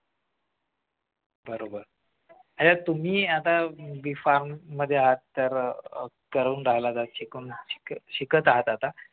बरोबर तुम्ही आता B farm मध्ये आहात तर करून राहिला आता शिकत शिकत आहात आता